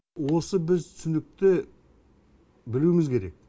осы біз түсінікті білуіміз керек